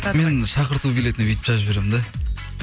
мен шақырту билетін бүйтіп жазып жіберемін де